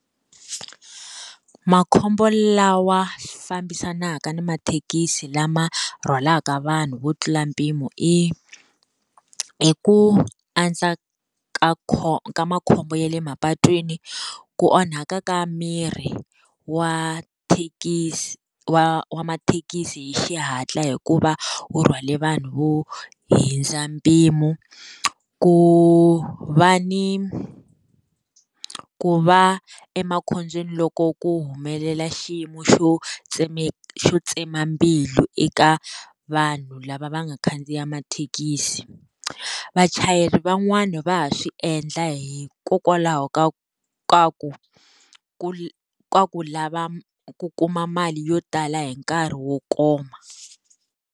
Makhombo lawa fambisanaka ni mathekisi lama rhwalaka vanhu vo tlula mpimo i, i ku andza ka makhombo ya le mapatwini, ku onhaka ka mirhi wa thekisi wa wa mathekisi hi xihatla hikuva, wu rhwale vanhu vo hundza mpimo. Ku va ni, ku va emakhobyeni loko ku humelela xiyimo xo xo tsema mbilu eka vanhu lava va nga khandziya mathekisi. Vachayeri van'wani va ha swi endla hikokwalaho ka ka ku, ku ka ku lava ku kuma mali yo tala hi nkarhi wo koma.